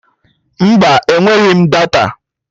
Mba, enweghị m data